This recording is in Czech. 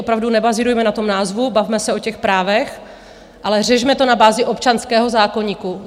Opravdu nebazírujme na tom názvu, bavme se o těch právech, ale řešme to na bázi občanského zákoníku.